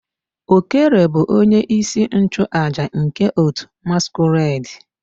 Okere bu onye isi nchu aja nke otu masquerade.